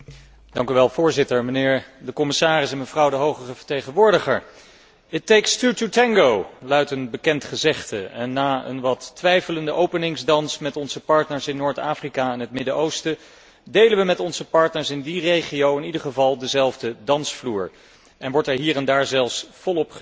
Voorzitter, mijnheer de commissaris, mevrouw de hoge vertegenwoordiger, luidt een bekend gezegde en na een wat twijfelende openingsdans met onze partners in Noord Afrika en het Midden Oosten, delen we met onze partners in die regio in ieder geval dezelfde dansvloer en wordt er hier en daar zelfs volop geswingd.